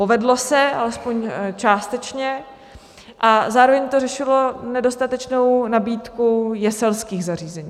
Povedlo se alespoň částečně a zároveň to řešilo nedostatečnou nabídku jeselských zařízení.